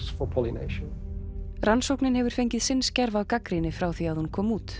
rannsóknin hefur fengið sinn skerf af gagnrýni frá því hún kom út